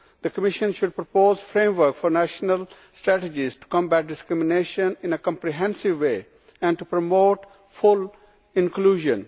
The Commission should propose a framework for national strategies to combat discrimination in a comprehensive way and to promote full inclusion.